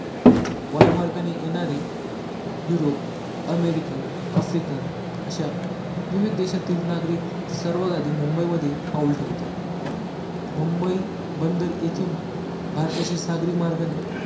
वायुमार्गाने येणारे Europe, American, African अश्या विविध देशातील नागरिक सर्वात आधी मुंबई मध्ये पाऊल ठेवतात मुंबई बंदर येथून भारताचे सागरी मार्गाने